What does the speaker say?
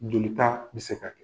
Joli ta bɛ se ka kɛ.